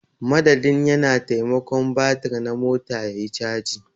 Madadin ya na. taimakon batir na mota yayi caji.